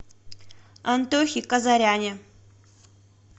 антохе казаряне